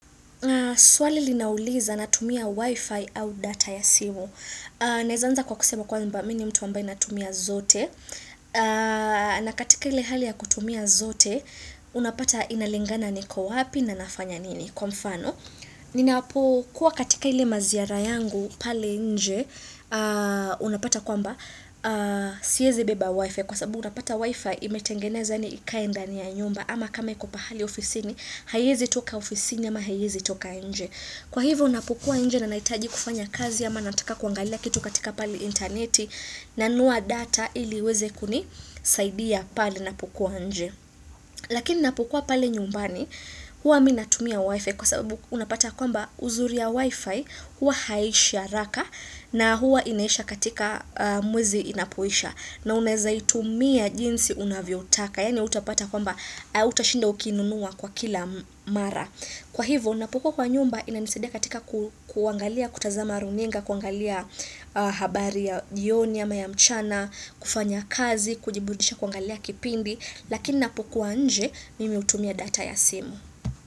Swali linauliza natumia wifi au data ya simu. Naweza anza kwa kusema kwamba mimi mtu amabaye anatumia zote. Na katika ile hali ya kutumia zote, unapata inalingana niko wapi na nafanya nini? Kwa mfano, ninapokua katika ile maziara yangu pale nje, unapata kwamba siwezi beba wifi. Kwa sababu utapata wifi imetengenezwa yani ikae ndani ya nyumba ama kama iko pahali ofisini, haiwezi toka ofisini ama haiwezi toka nje Kwa hivyo napokua nje na nahitaji kufanya kazi ama nataka kuangalia kitu katika pali interneti na nunua data ili iweze kunisaidia pali napokua nje Lakini napukua pali nyumbani huwa mimi natumia wifi Kwa sababu unapata kwamba uzuri ya wifi huwa haiishi haraka na huwa inaisha katika mwezi inapoisha na unaweza itumia jinsi unavyoutaka yani hautapata kwamba hautashinda ukinunua kwa kila mara. Kwa hivyo, napokuwa kwa nyumba inanisaidia katika kuangalia, kutazama runinga, kuangalia habari ya jioni, ama ya mchana, kufanya kazi, kujiburudisha, kuangalia kipindi. Lakini napokuwa nje, mimi hutumia data ya simu.